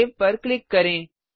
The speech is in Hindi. सेव सेव पर क्लिक करें